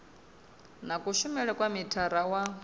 na kushumele kwa mithara wa